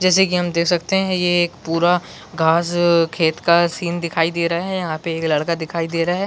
जैसे की हम देख सकते है ये एक पूरा घांस खेत का सीन दिखाई दे रहा है यहाँ पे एक लड़का दिखाई दे रहा है ।